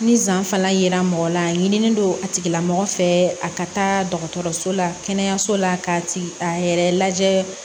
Ni zan fana yera mɔgɔ la a ɲini don a tigila mɔgɔ fɛ a ka taa dɔgɔtɔrɔso la kɛnɛyaso la ka a yɛrɛ lajɛ